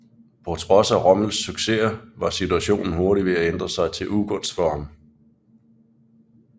På trods af Rommels successer var situationen hurtigt ved at ændre sig til ugunst for ham